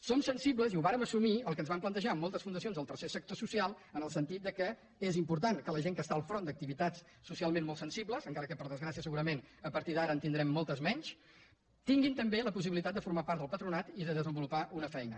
som sensibles i ho vàrem assumir al que ens van plantejar moltes fundacions del tercer sector social en el sentit que és important que la gent que està al front d’activitats socialment molt sensibles encara que per desgràcia segurament a partir d’ara en tindrem mol·tes menys tinguin també la possibilitat de formar part del patronat i de desenvolupar una feina